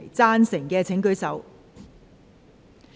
贊成的請舉手。